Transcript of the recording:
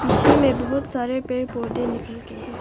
पीछे मैं बहुत सारे पेड़ पौधे निकल के हैं।